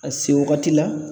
Ka se wagati la